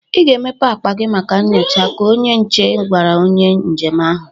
"I ga emepe akpa gị maka nnyocha!" ka onye nche gwara onye njem ahụ.